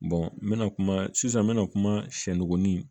n bɛna kuma sisan n bɛna kuma sɛgonin